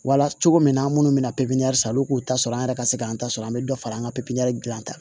Wala cogo min na an minnu bɛ na pepppsɔn k'u ta sɔrɔ an yɛrɛ ka se k'an ta sɔrɔ an bɛ dɔ fara an ka pipiniyɛri gilan kan